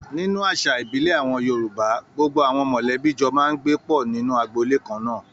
Nínú àṣà ìbílẹ̀ àwọn Yorùbá, gbogbo àwọn mọ̀lẹ́bí jọ máa ń gbé pọ̀ nínú agboolé kannáà.